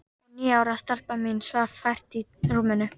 Og níu ára stelpan mín svaf vært í rúminu.